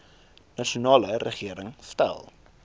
nasionale regering stel